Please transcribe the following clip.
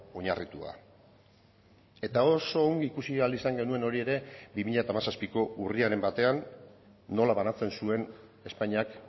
oinarritua eta oso ongi ikusi ahal izan genuen hori ere bi mila hamazazpiko urriaren batean nola banatzen zuen espainiak